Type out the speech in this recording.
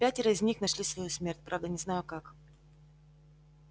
пятеро из них нашли свою смерть правда не знаю как